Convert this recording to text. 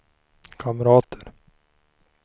kamrater